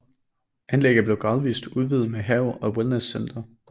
Anlægget er gradvist blevet udvidet med stor have og wellnesscenter